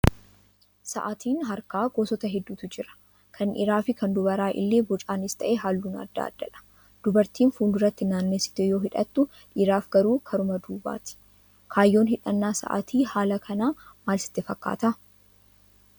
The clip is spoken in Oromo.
Sa'aatiin harkaa gosoota hedduutu jira. Kan dhiiraa fi kan dubaraa illee bocaanis ta'ee halluun adda addadha. Dubartiin fuulduratti naannessitee yoo hidhattu dhiiraaf garuu karuma duubaati. Kaayyoon hidhannaa sa'aatii haala kanaa maal sitti fakkaataa?